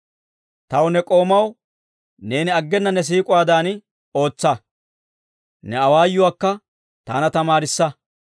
Taw, ne k'oomaw, neeni aggena ne siik'uwaadan ootsa; ne awaayuwaakka taana tamaarissa.